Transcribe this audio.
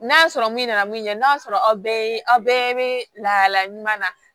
N'a sɔrɔ min nana min ɲɛ n'a sɔrɔ aw bɛɛ aw bɛɛ bɛ lahalaya ɲuman na